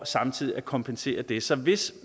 samtidig at kompensere det så hvis